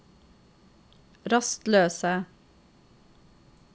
rastløse